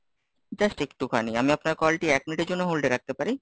just একটুখানি, আমি আপনার call টি এক মিনিটের জন্য hold এ রাখতে পারি?